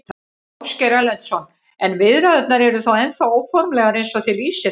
Ásgeir Erlendsson: En viðræðurnar eru ennþá óformlegar eins og þið lýsið þeim?